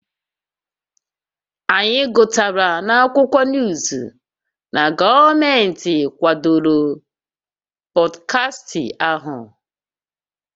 Anyị gụtara n'akwụkwọ nuuzu na gọọmenti kwadoro pọdkastị ahụ